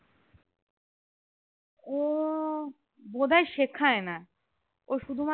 ওহ বোধহয় শিখায় না ও শুধুমাত্র